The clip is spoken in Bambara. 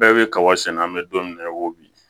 Bɛɛ bɛ kaba sɛnɛ an bɛ don min na i ko bi